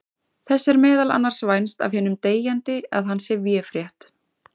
Þess er meðal annars vænst af hinum deyjandi að hann sé véfrétt.